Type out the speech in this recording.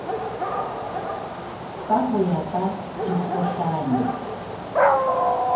ka ho ya ka dikgohlano